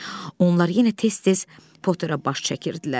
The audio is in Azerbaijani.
Onlar yenə tez-tez Potterə baş çəkirdilər.